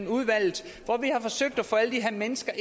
udvalget hvor vi har forsøgt at få alle de her mennesker